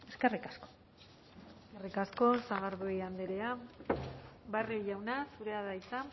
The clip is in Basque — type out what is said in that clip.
eskerrik asko eskerrik asko sagardui andrea barrio jauna zurea da hitza